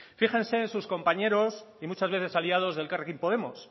fíjense en sus compañeros y muchas veces aliados de elkarrekin podemos